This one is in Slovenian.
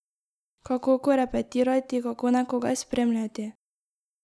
Kako korepetirati, kako nekoga spremljati?